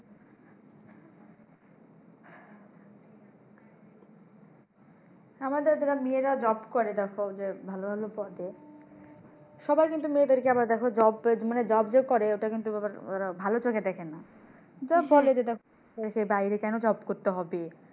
আমাদের যারা মেয়েরা job করে দেখো যে ভালো ভালো পদে সবাই কিন্তু মেয়েদেরকে আবার দেখো job পেয়েছে মানি job যে করে এতটা কিন্তু ওরা ভালো চোখে দেখেনা। বলে যে দেখো সে বাইরে কেন job করতে হবে?